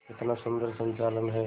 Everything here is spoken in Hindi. कितना सुंदर संचालन है